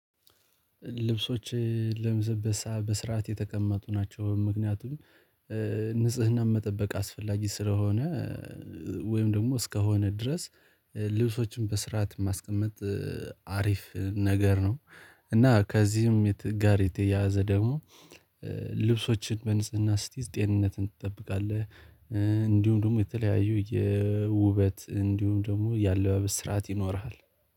ልብሶች ለምዘበሰበ በስርዓት የተቀመጡ ናቸው ምክንያቱም ንጽህና መጠበቅ አስፈላጊ ስለሆነ ወይም ደግሞ እስከሆነ ድረስ ልብሶችን በስርዓት ማስቀመጥ አሪፍ ነገር ነው። እና ከዚህም ጋር የተያያዘ ደግሞ ልብሶችን በንጽህና ስትይዝ ጤንነትን ትጠብቃለህ። እንዲሁም ደግሞ የተለያዩ የውበት እንዲሁም ደግሞ ያለአባበስ ስርዓት ይኖርሃል።